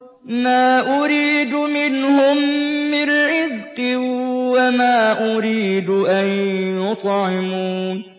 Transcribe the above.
مَا أُرِيدُ مِنْهُم مِّن رِّزْقٍ وَمَا أُرِيدُ أَن يُطْعِمُونِ